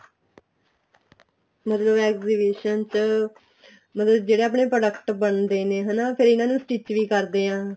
ਮਤਲਬ exhibition ਚ ਮਤਲਬ ਜਿਹੜੇ ਆਪਣੇ product ਬਣਦੇ ਨੇ ਹਨਾ ਫ਼ਿਰ ਇਹਨਾ ਨੂੰ stitch ਵੀ ਕਰਦੇ ਆ